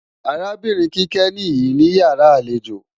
Arábìnrin Kíkẹ́ nìí níyàrá àlejò